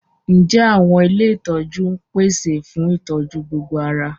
Ǹjẹ́ àwọn ilé ìtọ́jú ń pèsè fún ìtọ́jú gbogbo ara?